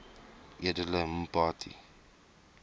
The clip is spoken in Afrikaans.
edele mpati